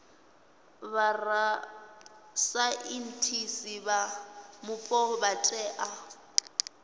vhorasaintsi vha mupo vha tea